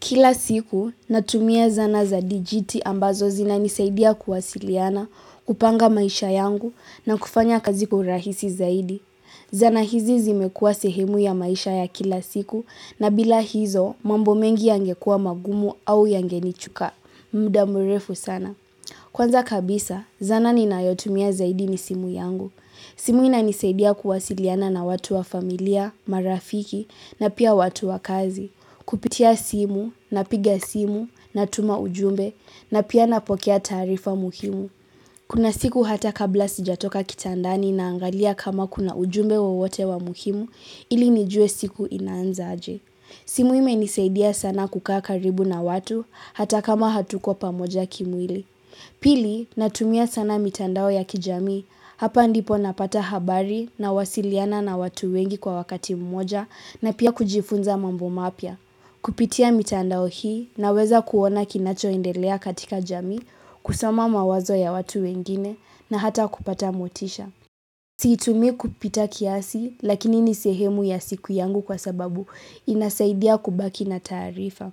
Kila siku, natumia zana za dijiti ambazo zinanisaidia kuwasiliana, kupanga maisha yangu na kufanya kazi kwa uhurahisi zaidi. Zana hizi zimekua sehemu ya maisha ya kila siku na bila hizo mambo mengi yangekua magumu au yangenichuka. Mda murefu sana. Kwanza kabisa, zana ninayotumia zaidi ni simu yangu. Simu inanisaidia kuwasiliana na watu wa familia, marafiki na pia watu wa kazi. Kupitia simu, napiga simu, natuma ujumbe na pia napokea taarifa muhimu. Kuna siku hata kabla sijatoka kitandani naangalia kama kuna ujumbe wowote wa muhimu ili nijue siku inaanza aje. Simu imenisaidia sana kukaa karibu na watu hata kama hatuko pamoja kimwili. Pili, natumia sana mitandao ya kijami. Hapa ndipo napata habari nawasiliana na watu wengi kwa wakati mmoja na pia kujifunza mambo mapya. Kupitia mitandao hii naweza kuona kinacho endelea katika jamii, kusoma mawazo ya watu wengine na hata kupata motisha. Siitumi kupita kiasi lakini ni sehemu ya siku yangu kwa sababu inasaidia kubaki na taarifa.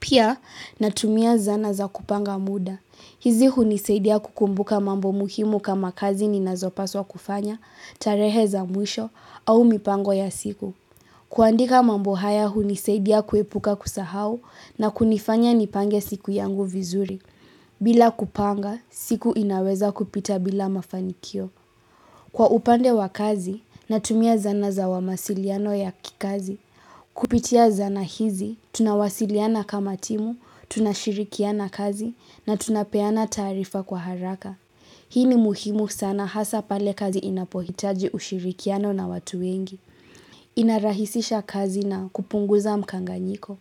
Pia natumia zana za kupanga muda. Hizi hunisaidia kukumbuka mambo muhimu kama kazi ninazopaswa kufanya, tarehe za mwisho au mipango ya siku. Kuandika mambo haya hunisaidia kuepuka kusahau na kunifanya nipange siku yangu vizuri. Bila kupanga, siku inaweza kupita bila mafanikio. Kwa upande wa kazi natumia zana za wa masiliano ya kikazi. Kupitia zana hizi, tunawasiliana kama timu, tunashirikiana kazi na tunapeana taarifa kwa haraka. Hii ni muhimu sana hasa pale kazi inapohitaji ushirikiano na watu wengi. Inarahisisha kazi na kupunguza mkanganyiko.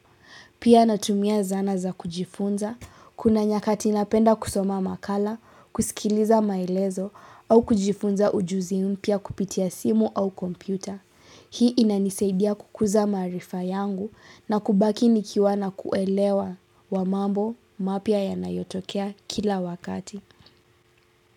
Pia natumia zana za kujifunza, kuna nyakati inapenda kusoma makala, kusikiliza maelezo, au kujifunza ujuzi mpya kupitia simu au kompyuta. Hii inanisaidia kukuza maarifa yangu na kubaki nikiwa na kuelewa wa mambo mapya yanayotokea kila wakati.